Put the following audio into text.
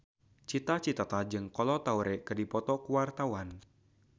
Cita Citata jeung Kolo Taure keur dipoto ku wartawan